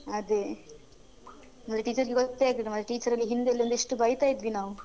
ಅದೇ ಮತ್ತೆ teachers ಗೆ ಗೊತ್ತೇ ಆಗ್ಲಿಲ್ಲ ಮಾರ್ರೆ teachers ಗೆ ಹಿಂದೆಲ್ಲಿಲ್ಲಾ ಎಷ್ಟು ಬೈತಾ ಇದ್ವಿ ನಾವು.